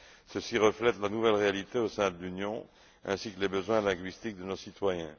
Ceci reflète la nouvelle réalité au sein de l'Union ainsi que les besoins linguistiques de nos citoyens.